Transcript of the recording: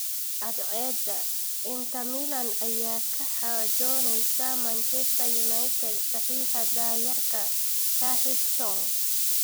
(Cadceeda) Inter Milan ayaa kala xaajoonaysa Manchester United saxiixa da’yarka Tahith Chong.